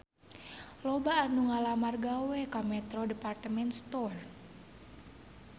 Loba anu ngalamar gawe ka Metro Department Store